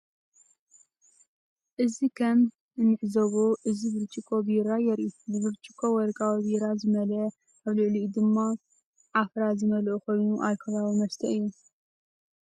እዚ ከም እንዕዘቦ እዚ ብርጭቆ ቢራ የርኢ። ብብርጭቆ ወርቃዊ ቢራ ዝመልአ ኣብ ልዕሊኡ ድማ ዓፍራ ዝመልአ ኮይኑ አልኮላዊ መስተ እዩ ።